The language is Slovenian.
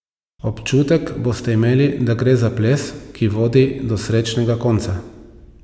Občutek boste imeli, da gre za ples, ki vodi do srečnega konca.